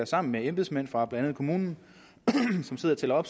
sammen med embedsmændene fra blandt andet kommunen sidder og tæller